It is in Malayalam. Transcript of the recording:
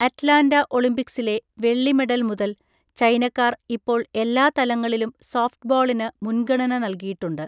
അറ്റ്ലാന്റ ഒളിമ്പിക്സിലെ വെള്ളി മെഡൽ മുതൽ, ചൈനക്കാർ ഇപ്പോൾ എല്ലാ തലങ്ങളിലും സോഫ്റ്റ്ബോളിന് മുൻഗണന നൽകിയിട്ടുണ്ട്.